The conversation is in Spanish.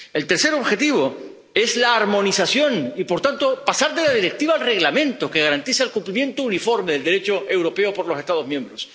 El tercer objetivo es la armonización y, por tanto, pasar de la Directiva al Reglamento, que garantiza el cumplimiento uniforme del Derecho europeo por los Estados miembros.